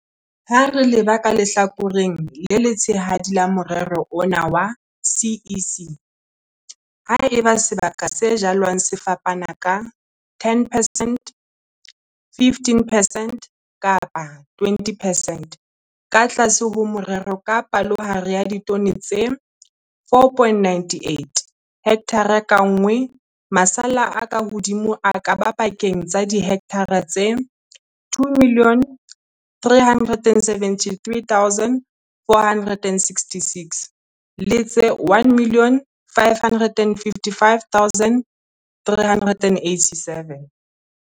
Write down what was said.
Ha re leba ka lehlakoreng le letshehadi la morero ona wa CEC, haeba sebaka se jalwang se fapana ka 10 percent, 15 percent kapa 20 percent ka tlase ho merero ka palohare ya ditone tse 4, 98 hekthara ka nngwe, masalla a ka hodimo a ka ba pakeng tsa dihekthara tse 2 373 466 le tse 1 555 387.